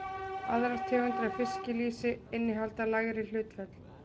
Aðrar tegundir af fiskilýsi innihalda lægri hlutföll.